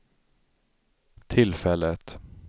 tillfället